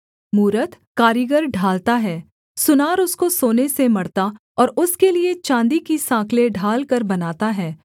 मूरत कारीगर ढालता है सुनार उसको सोने से मढ़ता और उसके लिये चाँदी की साँकलें ढालकर बनाता है